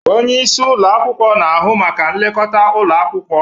Onye isi ụlọ akwụkwọ na-ahụ maka nlekọta ụlọ akwụkwọ.